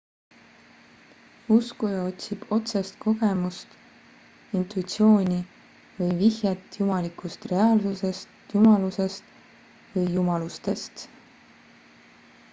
uskuja otsib otsest kogemust intuitsiooni või vihjet jumalikust reaalsusest / jumalusest või jumalustest